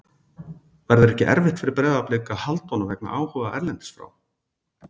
Verður ekki erfitt fyrir Breiðablik að halda honum vegna áhuga erlendis frá?